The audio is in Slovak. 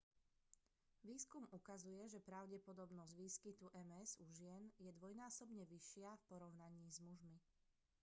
výskum ukazuje že pravdepodobnosť výskytu ms u žien je dvojnásobne vyššia v porovnaní s mužmi